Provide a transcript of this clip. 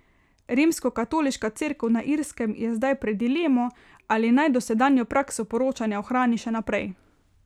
Rimskokatoliška cerkev na Irskem je zdaj pred dilemo, ali naj dosedanjo prakso poročanja ohrani še naprej.